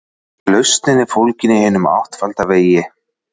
Lausnin er fólgin í hinum áttfalda vegi.